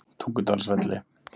Tungudalsvelli